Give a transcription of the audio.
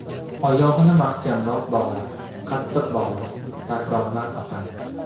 Oyog‘ini mahkamroq bog‘la, Qattiq bog‘la, takrorlar otam.